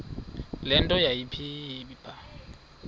le nto yayipha